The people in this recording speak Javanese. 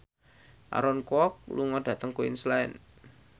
Aaron Kwok lunga dhateng Queensland